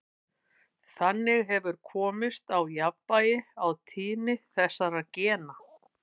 Þannig hefur komist á jafnvægi á tíðni þessara gena.